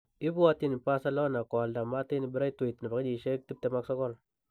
ibwatyin Barcelona koalda Martin Braithwaite,29.